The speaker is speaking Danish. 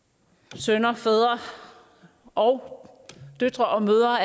sønner fædre og døtre og mødre